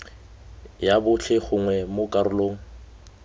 ya botlhe gongwe mo karolong